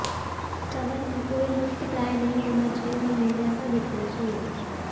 cover में कोई लुप्तप्राय नहीं होना चाहिए और नए जैसा दिखना चाहिए